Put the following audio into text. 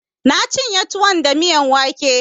Na cinye tuwon da miyan wake